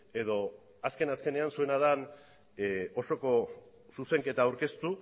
edo azken azkenean zuena den osoko zuzenketa aurkeztu